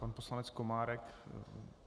Pan poslanec Komárek.